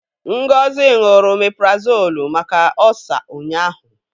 Ngozi ṅụrụ omeprazolu maka ọ́sa ụnyaahụ.